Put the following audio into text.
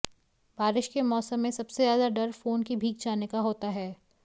बारिश के मौसम में सबसे ज्यादा डर फोन के भीग जाने का होता है